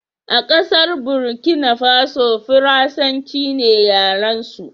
a kasar Burkina Faso, farasanci ne yaransu